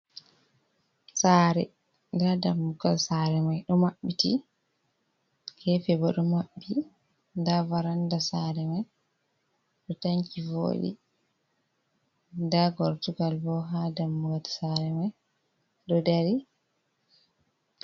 Sare nda dammugal sare mai ɗo maɓɓiti gefe bo ɗo maɓɓi nda varanda sare mai ɗo tanki voɗi nda gortugal bo ha damugal sare mai ɗo dari.